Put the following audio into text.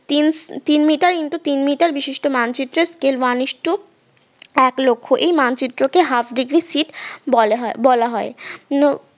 তিন উহ তিন মিটার ইনটু তিন মিটার বিশিষ্ট মানচিত্রের স্কেল one ইস্টু এক লক্ষ এই মানচিত্রকে half degree sheet বলা হয় বলা হয় নো